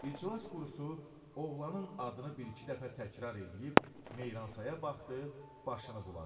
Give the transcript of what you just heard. İclas qurusu oğlanın adını bir-iki dəfə təkrar eləyib Meyransaya baxdı, başını buladı.